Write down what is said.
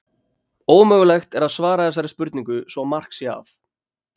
Ómögulegt er að svara þessari spurningu svo mark sé að.